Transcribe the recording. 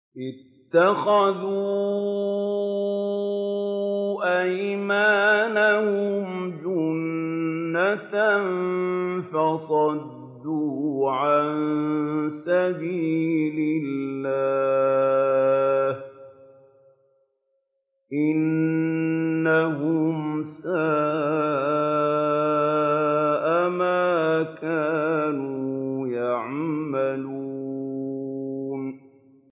اتَّخَذُوا أَيْمَانَهُمْ جُنَّةً فَصَدُّوا عَن سَبِيلِ اللَّهِ ۚ إِنَّهُمْ سَاءَ مَا كَانُوا يَعْمَلُونَ